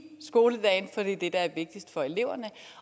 skoledagen for det er det der er vigtigst for eleverne